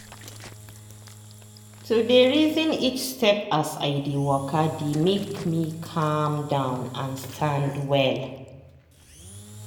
to dey reason each step as i dey waka dey make me calm down and stand well.